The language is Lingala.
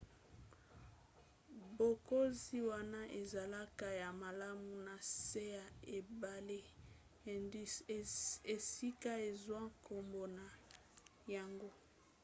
bokonzi wana ezalaka ya malamu na se ya ebale indus esika ezwa nkombo na yango